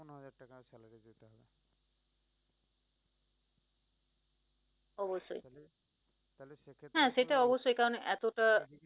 অবশ্যই হ্যাঁ সেটাই অবশ্যই কারন এতটা